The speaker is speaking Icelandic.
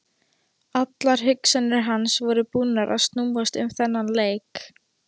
Allar hugsanir hans voru búnar að snúast um þennan leik.